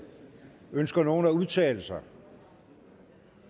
ønsker nogen at udtale sig